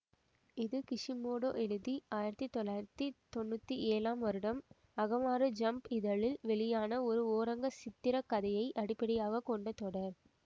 இது கிஷிமோடோ எழுதி ஆயிரத்தி தொள்ளாயிரத்தி தொன்னூற்தி ஏழாம் வருடம் அகமாரு ஜம்ப் இதழில் வெளியான ஒரு ஓரங்க சித்திரக்கதையை அடிப்படையாக கொண்ட தொடர்